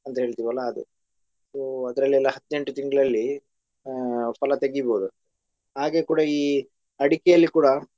ಅಂತ ಹೇಳ್ತೀವಲ್ಲ ಅದು so ಅದ್ರಲ್ಲೆಲ್ಲ ಹದ್ನೆಂಟು ತಿಂಗ್ಳಲ್ಲಿ ಆ ಫಲ ತೆಗಿಬೋದು ಹಾಗೆ ಕೂಡಾ ಈ ಅಡಿಕೇಲಿ ಕೂಡಾ.